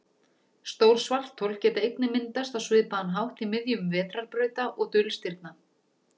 Stór svarthol geta einnig myndast á svipaðan hátt í miðjum vetrarbrauta og dulstirna.